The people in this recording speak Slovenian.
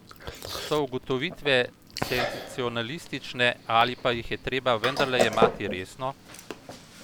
So ugotovitve senzacionalistične ali pa jih je treba vendarle jemati resno?